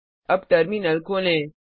अब टर्मिनल खोलें